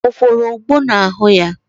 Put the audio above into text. O kworo ogbo n'ahụ ya?